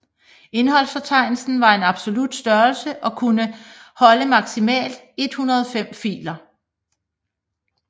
Indholdsfortegnelsen var en absolut størrelse og kunne holde maksimalt 105 filer